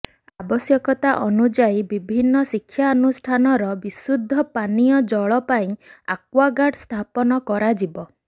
ଆବଶ୍ୟକତା ଅନୁଯାୟୀ ବିଭିନ୍ନ ଶିକ୍ଷାନୁଷ୍ଠାନର ବିଶୁଦ୍ଧ ପାନୀୟ ଜଳ ପାଇଁ ଆକ୍ୱାଗାର୍ଡ ସ୍ଥାପନ କରାଯିବ